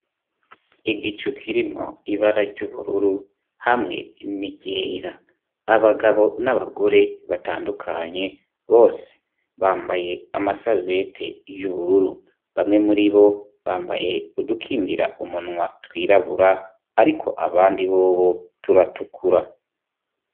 Igicu ukirimwo ibara ry'ubururu hamwe nirera abagabo n'abagore batandukanye bose bambaye amasabbete y'ubururu bamwe muri bo bambaye budukingira umunwa twirabura, ariko abandi bobo turatukura.